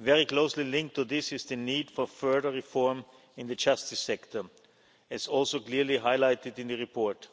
Very closely linked to this is the need for further reform in the justice sector, as also clearly highlighted in the report.